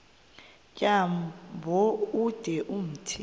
tyambo ude umthi